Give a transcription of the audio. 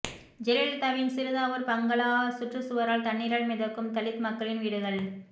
ஜெயலலிதாவின் சிறுதாவூர் பங்களா சுற்றுச் சுவரால் தண்ணீரில் மிதக்கும் தலித் மக்களின் வீடுகள்